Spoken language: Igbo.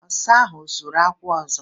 Ọsa ahụ ọ zuru akwụ ọzọ?